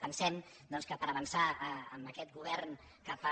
pensem que per avançar amb aquest govern que fa